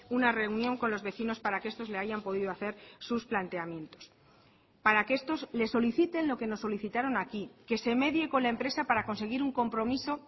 una reunión con los vecinos para que estos le hayan podido hacer sus planteamientos para que estos les soliciten lo que nos solicitaron aquí que se medie con la empresa para conseguir un compromiso